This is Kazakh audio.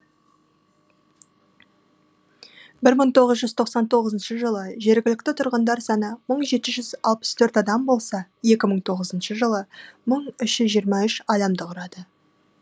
мың тоғыз жүз тоқсан тоғызыншы жылы жергілікті тұрғындар саны бар мың жеті жүз алпыс төрт адам болса екі мың тоғызыншы жылы мың үш жүз жиырма үш адамды құрады